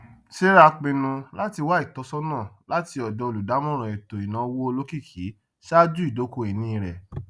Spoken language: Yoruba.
sarah pinnu láti wá ìtọsọnà láti ọdọ olùdámọràn ètò ináwó olókìkí ṣáájú ìdókòínì rẹ